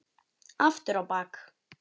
Aftur á bak.